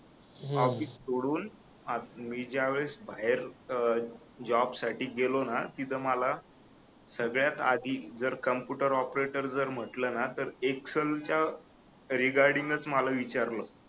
office सोडून मी ज्यावेळेस बाहेर अह जॉब साठी गेलो ना तिथ मला सगळ्यात आधी जर कॉम्प्युटर ऑपरेटर जर म्हटलं ना तर एक्सेल च्या रीगार्डिंगच मला विचारलं